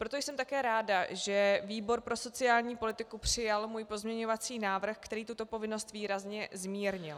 Proto jsem také ráda, že výbor pro sociální politiku přijal můj pozměňovací návrh, který tuto povinnost výrazně zmírnil.